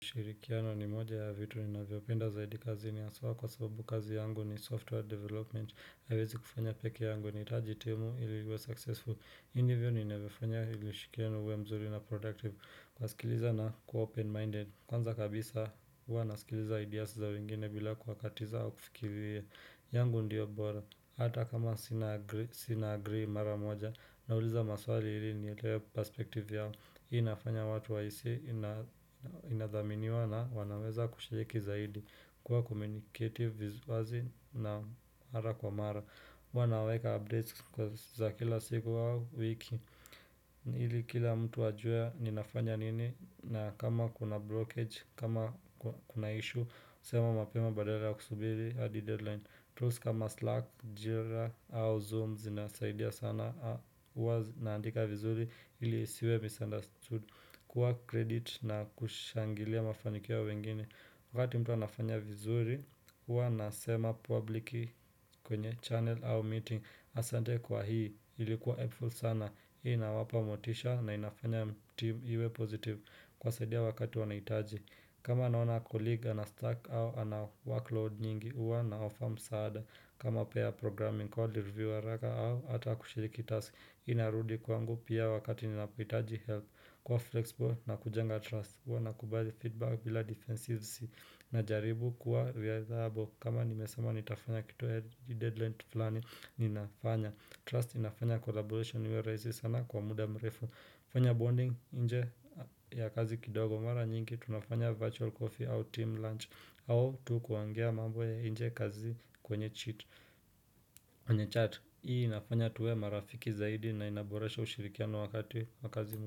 Kushirikiana ni moja ya vitu ninavyopenda zaidi kazi ni haswa kwa sababu kazi yangu ni software development haiwezi kufanya pekee yangu nahitaji timu ili niwe successful. Hivi ndivyo ninavyofanya ili ushirikiano uwe mzuri na productive kwa sikiliza na kuwa open minded Kwanza kabisa uwa nasikiliza ideas za wengine bila kuwakatiza wa kufikiria. Yangu ndiyo bora Hata kama sina agree mara moja na uliza maswali hili ni leo perspective yao inafanya watu wahisi inadhaminiwa na wanaweza kushiriki zaidi kuwa komunikative wazi na mara kwa mara Wanaweka updates za kila siku wao wiki Hili kila mtu ajue ninafanya nini na kama kuna blockage, kama kuna issue sema mapema badala ya kusubiri adi deadline tools kama Slack, Jira au Zoom zinasaidia sana wazi naandika vizuri ili isiwe misunderstood kuwa kredit na kushangilia mafaniki ya wengine wakati mtu wanafanya vizuri wanasema publiki kwenye channel au meeting asante kwa hii ilikuwa helpful sana inawapa motisha na inafanya team iwe positive kuwasaidia wakati wanahitaji kama naona kolige anastack au anawakload nyingi huwa nawapa msaada kama pia programming call review haraka au Hata kushiriki task inarudi kwangu pia wakati ninapohitaji help kuwa flexible na kujenga trust huwa nakubali feedback bila defensivesi na jaribu kuwa viable kama nimesema nitafanya kitu hii deadline kitu flani ninafanya. Trust inafanya collaboration iwe rahisi sana kwa muda mrefu. Fanya bonding nje ya kazi kidogo mara nyingi tunafanya virtual coffee au team lunch au tu kuongea mambo ya nje kazi kwenye cheat kwenye chat Hii inafanya tuwe marafiki zaidi na inaboresha ushirikiano wakati wa kazi.